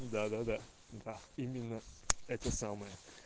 да да да да именно это самое